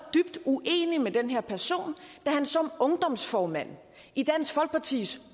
dybt uenig med den her person da han som ungdomsformand i dansk folkepartis